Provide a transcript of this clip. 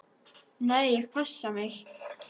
"""Nei, ég passa mig."""